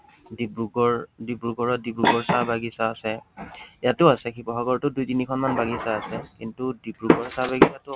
ডিব্ৰুগড়, ডিব্ৰুগড়ত ডিব্ৰুগড় চাহ বাগিচা আছে। ইয়াতো আছে। শিৱসাগৰতো দুই তিনিখনমান বাগিচা আছে । কিন্তু ডিব্ৰুগড় চাহবাগিচাটো